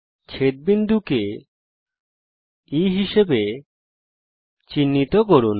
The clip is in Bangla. ছেদ বিন্দুকে E হিসাবে চিহ্নিত করুন